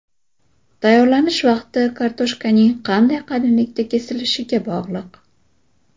Tayyorlanish vaqti kartoshkaning qanday qalinlikda kesilishiga bog‘liq.